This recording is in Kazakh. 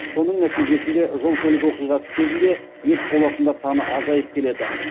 соның нәтижесінде жол көлік оқиғасы кезінде мерт болатындар саны азайып келеді